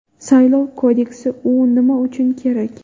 Saylov kodeksi: u nima uchun kerak?.